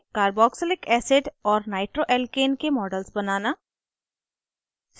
* carboxylic acid और nitroalkane के models बनाना